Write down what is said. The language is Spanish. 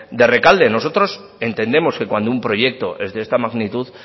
de rekalde nosotros entendemos que cuando un proyecto es de esta magnitud